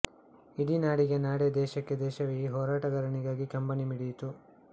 ಇಡೀನಾಡಿಗೆ ನಾಡೇ ದೇಶಕ್ಕೆ ದೇಶವೇ ಈ ಹೋರಾಟಗಾರನಿಗಾಗಿ ಕಂಬಿನಿ ಮಿಡಿಯಿತು